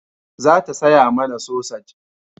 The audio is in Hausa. Za ta saya mana sosaj